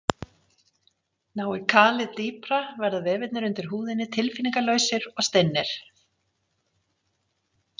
Nái kalið dýpra verða vefirnir undir húðinni tilfinningalausir og stinnir.